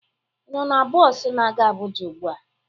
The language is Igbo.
Ị nọ na bọs na-aga Abuja ugbu a?